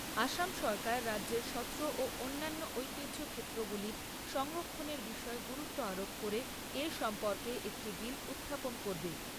আসাম সরকার রাজ্যের সত্র ও অন্যান্য ঐতিহ্য ক্ষেত্রগুলির সংরক্ষণের বিষয়ে গুরুত্ব আরোপ করে এ সম্পর্কে একটি বিল উত্থাপন করবে।